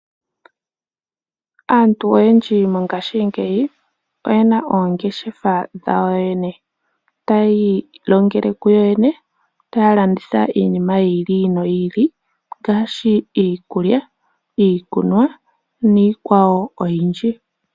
Aantu oyendji mongashingeyi oye na oongeshefa dhawo yo yene, taya ilongele kuyo yene, taya landitha iinima yi ili noyi ili ngaashi iikulya, iikunwa niikwawo oyindji.